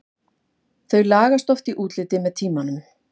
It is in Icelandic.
Þau lagast oft í útliti með tímanum.